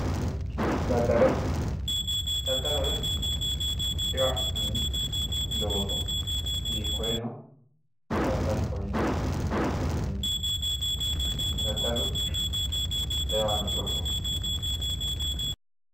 daddalo daddaloho yaa eo afi'nanni looso hiikkoono hakkoye daddaloho yine woshshinanni